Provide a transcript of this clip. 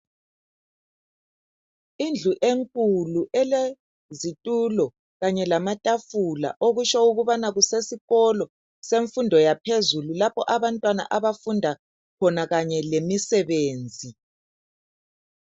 Indlu enkulu elezitulo kanye lamatafula okutsho ukubana kusesikolo semfundo yaphezulu lapho abantwana abafunda khona kanye lemisebenzi.